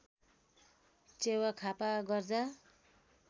च्यावा खापा गर्जा